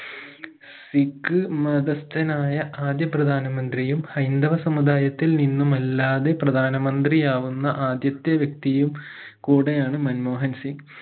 സിഖ് മതസ്ഥനായ ആദ്യ പ്രധാനമന്ത്രിയും ഹൈന്ദവ സമുദായത്തിൽ നിന്നുമല്ലാതെ പ്രധാനമന്ത്രിയാവുന്ന ആദ്യത്തെ വ്യക്തിയും കൂടെയാണ് മൻമോഹൻസിംഗ്